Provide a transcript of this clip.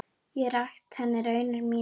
Ég rakti henni raunir mínar.